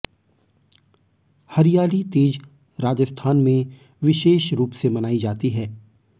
हरियाली तीज राजस्थान में विशेष रूप से मनाई जाती है